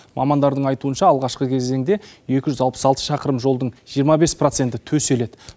мамандардың айтуынша алғашқы кезеңде екі жүз алпыс алты шақырым жолдың жиырма бес проценті төселеді